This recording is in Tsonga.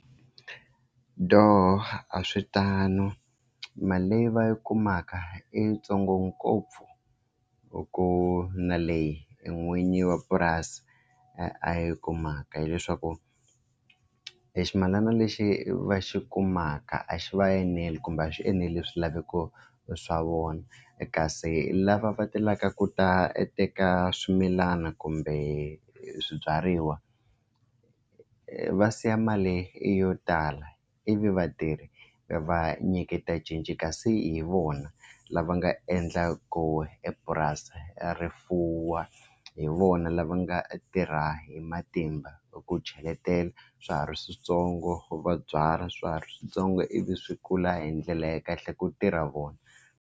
Dooh a swi tano mali leyi va yi kumaka i ntsongo ngopfu hi ku na leyi n'winyi wa purasi a yi kumaka hileswaku e ximilana lexi va xi kumaka a xi va eneli kumbe a xi enerile swilaveko swa vona kasi lava va telaka ku ta a teka swimilana kumbe swibyariwa va siya mali yo tala ivi vatirhi va nyiketa cinci kasi hi vona lava nga endlaku epurasi rifuwo a hi vona lava nga tirha hi matimba ku cheletela swa ha ri swintsongo va byala swiharhi switsongo ivi swi kula hi ndlela ya kahle ku tirha vona.